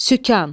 Sükan.